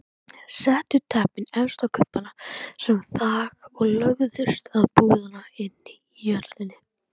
Settu teppin efst á kubbana sem þak og lögðust á púðana inni í höllinni.